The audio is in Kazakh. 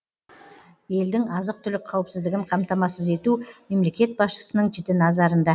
елдің азық түлік қауіпсіздігін қамтамасыз ету мемлекет басшысының жіті назарында